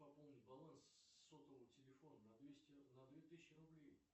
пополнить баланс сотового телефона на двести на две тысячи рублей